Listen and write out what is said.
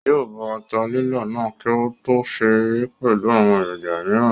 Yóò bọ ata lílọ̀ náà kí ó tó sè é pẹ̀lú àwọn èròjà mìíràn